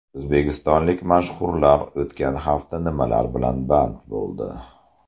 O‘zbekistonlik mashhurlar o‘tgan hafta nimalar bilan band bo‘ldi?